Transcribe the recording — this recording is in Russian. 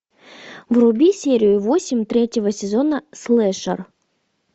вруби серию восемь третьего сезона слэшер